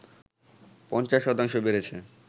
৫০ শতাংশ বেড়েছে